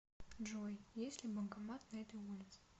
джой есть ли банкомат на этой улице